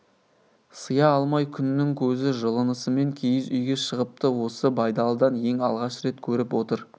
сыя алмай күннің көзі жылынысымен киіз үйге шығыпты осы байдалыдан ең алғаш рет көріп отыр